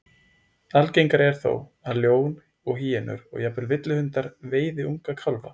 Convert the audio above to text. Algengara er þó að ljón og hýenur, og jafnvel villihundar, veiði unga kálfa.